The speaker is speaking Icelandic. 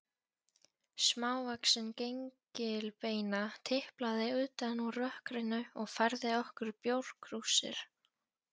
Smávaxin gengilbeina tiplaði utan úr rökkrinu og færði okkur bjórkrúsir.